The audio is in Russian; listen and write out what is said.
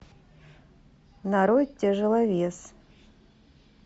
нарой тяжеловес